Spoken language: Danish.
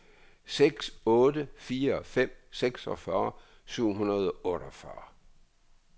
seks otte fire fem seksogfyrre syv hundrede og otteogfyrre